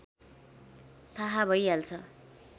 थाहा भइहाल्छ